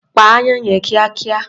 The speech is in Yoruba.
Pa aáyán yẹn kíákíá.